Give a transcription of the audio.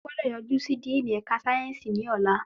O gbọ́dọ̀ yojú sí díìnì ẹ̀ka sáyẹ́nsì ní ọlá.